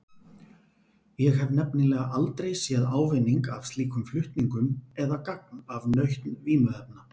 Ég hef nefnilega aldrei séð ávinning af slíkum flutningum eða gagn af nautn vímuefna.